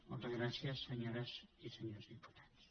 moltes gràcies senyores i senyors diputats